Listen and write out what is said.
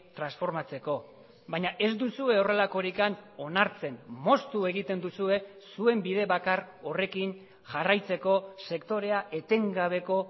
transformatzeko baina ez duzue horrelakorik onartzen moztu egiten duzue zuen bide bakar horrekin jarraitzeko sektorea etengabeko